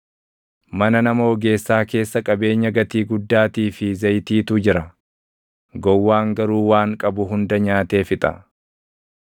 Mana nama ogeessaa keessa qabeenya gatii guddaatii fi zayitiitu jira; gowwaan garuu waan qabu hunda nyaatee fixa.